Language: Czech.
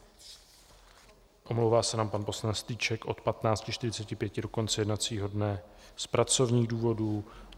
Omlouvá se nám pan poslanec Strýček od 15.45 do konce jednacího dne z pracovních důvodů.